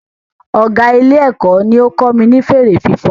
Ọgá Ilé-èkó ní ó kọ́ mi ní fèrè fífan